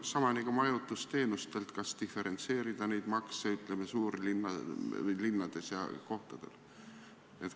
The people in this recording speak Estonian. Sama on majutusteenustega – kas diferentseerida neid makse, ütleme, suurlinnades ja kohtadel?